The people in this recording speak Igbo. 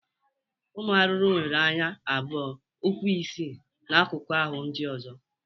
Ụmụ arụrụ nwere anya abụọ, ụkwụ isii na akụkụ ahụ ndị ọzọ.